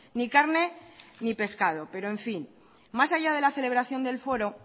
ni carne ni pescado pero en fin más allá de la celebración del foro